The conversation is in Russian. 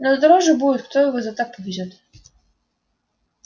но дороже будет кто его за так повезёт